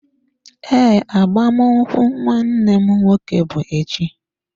Ee, agbamakwụkwọ nwanne m nwoke bụ echi.